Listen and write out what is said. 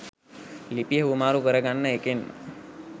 ලිපිය හුවමාරු කරගන්න එකෙන්ම